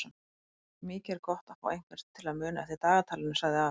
Mikið er gott að fá einhvern til að muna eftir dagatalinu sagði afi.